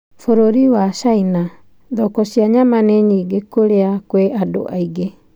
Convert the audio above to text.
Bũrũri wa China, thoko cia nyama nĩ nyingĩ kũrĩa kwĩna andũ aingĩ.